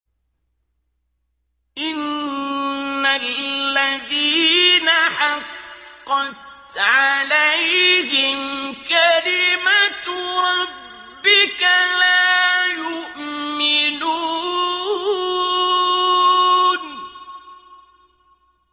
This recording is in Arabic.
إِنَّ الَّذِينَ حَقَّتْ عَلَيْهِمْ كَلِمَتُ رَبِّكَ لَا يُؤْمِنُونَ